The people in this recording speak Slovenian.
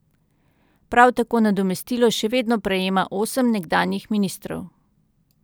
Prav tako nadomestilo še vedno prejema osem nekdanjih ministrov.